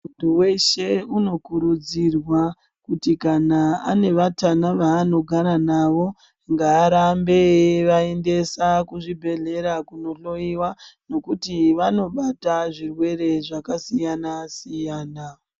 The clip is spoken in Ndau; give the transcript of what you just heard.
Muntu weshe unokurudzirwa kuti kana ane vatana vaanogara navo ngaarambe eivaendesa kuzvibhendlera kunondohloiwa ngekuti vanobata zvirwere zvakasiyana siyana.